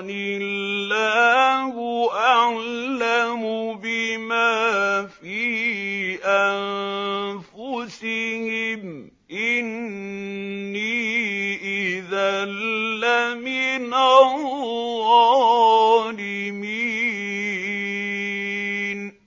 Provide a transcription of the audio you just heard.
اللَّهُ أَعْلَمُ بِمَا فِي أَنفُسِهِمْ ۖ إِنِّي إِذًا لَّمِنَ الظَّالِمِينَ